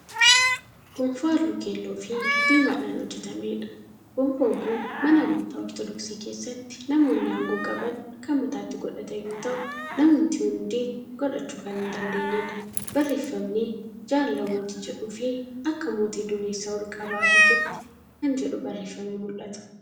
Gonfoo halluu keelloofi diimadhaan hojjatameedha. gonfoon kun mana amantaa ortodoksii keessatti namoonni aangoo qaban Kan mataatti godhatan yoo ta'u namumti hundi godhachuu Kan hin dandeenyedha. barreeffamni"jaalala mootii"jedhufi "Akka mootii dureessaa olqabaa hiiketti!" Kan jedhu barreeffamee mul'ata.